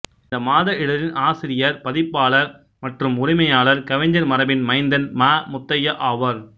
இந்த மாத இதழின் ஆசிரியர்பதிப்பாளர் மற்றும் உரிமையாளர் கவிஞர் மரபின் மைந்தன் ம முத்தையா ஆவார்